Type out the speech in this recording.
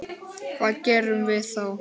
Hvað gerum við þá?